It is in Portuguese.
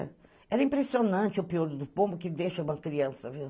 Era impressionante, o pior do povo, que deixa uma criança, viu?